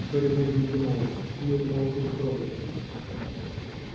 гарри долго не понимал чему это малфой так радуется